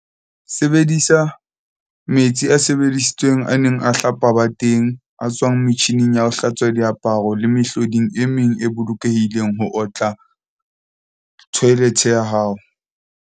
Sebedisa, metsi a sebedisitsweng a neng a hlapa bateng, a tswang metjhining ya ho hlatswa diaparo le mehloding e meng e bolokehileng ho otla thoelethe ya hao.